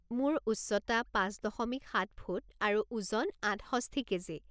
মোৰ উচ্চতা পাঁচ দশমিক সাত ফুট আৰু ওজন আঠষষ্ঠি কেজি।